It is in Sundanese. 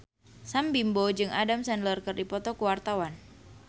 Sam Bimbo jeung Adam Sandler keur dipoto ku wartawan